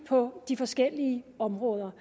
på de forskellige områder